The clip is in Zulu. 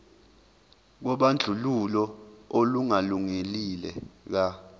kobandlululo olungalungile ka